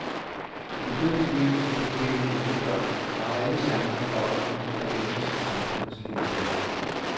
De begyndte livet som forkælede enebørn, og har alle chancer for også at ende som samfundets kæledægger.